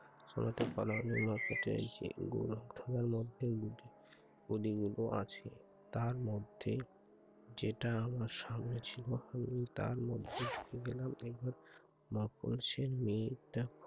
শোনাতে পারা হলো উনাকে যে গোলকধাঁধার মধ্যে গুটি কড়িগুলো আছে। তার মধ্যে যেটা আমার সামনে ছিল আমি তার মধ্যে ঢুকে গেলাম । একবার মফসের মেয়েটা